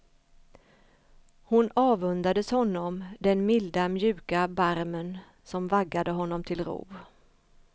Hon avundades honom den milda mjuka barmen som vaggade honom till ro.